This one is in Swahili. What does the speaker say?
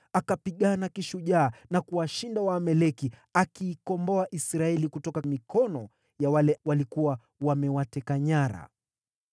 Akapigana kishujaa na kuwashinda Waamaleki, akiikomboa Israeli kutoka mikono ya wale waliokuwa wamewateka nyara.